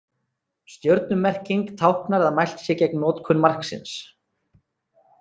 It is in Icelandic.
Stjörnumerking táknar að mælt sé gegn notkun marksins.